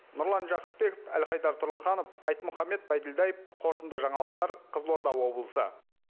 нұрлан жақыпбеков әлхайдар тұрлыханов айтмұхаммет байділдаев қорытынды жаңалықтар қызылорда облысы